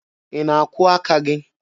Ị na-akwụọ aka gị?